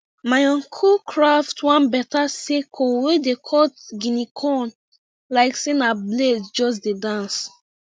my uncle craft one beta sickle wey dey cut guinea corn like say na blade just dey dance